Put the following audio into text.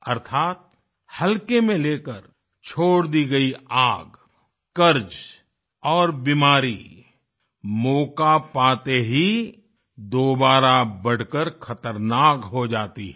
अर्थात हल्के में लेकर छोड़ दी गयी आग कर्ज़ और बीमारी मौक़ा पाते ही दोबारा बढ़कर ख़तरनाक हो जाती हैं